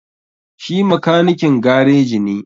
Shi makanikin gareji ne,